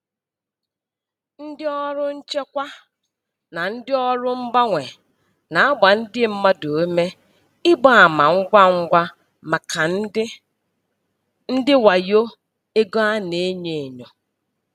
Ndị ọrụ nchekwa na ndị ọrụ mgbanwe na-agba ndị mmadụ ume ịgba ama ngwa ngwa maka ndị ndị wayo ego a na-enyo enyo.